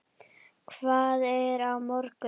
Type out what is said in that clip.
Hvað er á morgun?